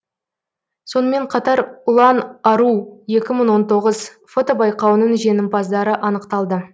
сонымен қатар ұлан ару екі мың он тоғыз фотобайқауының жеңімпаздары анықталды